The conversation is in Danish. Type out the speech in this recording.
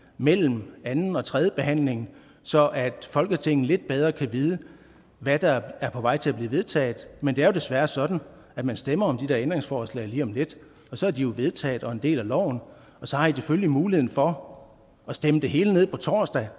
mellem anden og tredjebehandlingen så folketinget lidt bedre kan vide hvad der er på vej til at blive vedtaget men det er jo desværre sådan at man stemmer om de ændringsforslag lige om lidt og så er de jo vedtaget og er en del af loven og så har i selvfølgelig muligheden for at stemme det hele ned på torsdag